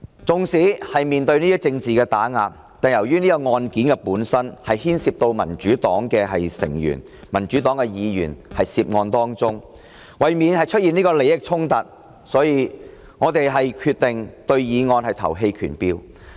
縱使面對政治打壓，但由於此案件本身牽涉到民主黨成員、議員，為免出現利益衝突，我們決定對議案投棄權票。